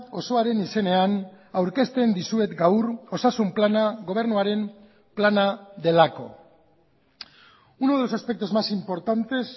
osoaren izenean aurkezten dizuet gaur osasun plana gobernuaren plana delako uno de los aspectos más importantes